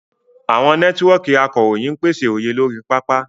Àwọn nẹ́tíwọ́ọ̀kì akọ̀ròyìn ń pèsè òye lórí pápá.